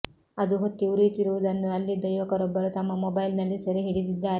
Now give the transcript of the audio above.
ಅದು ಹೊತ್ತಿ ಉರಿಯುತ್ತಿರುವುದನ್ನ ಅಲ್ಲಿದ್ದ ಯುವಕರೊಬ್ಬರು ತಮ್ಮ ಮೊಬೈಲ್ ನಲ್ಲಿ ಸೆರೆ ಹಿಡಿದಿದ್ದಾರೆ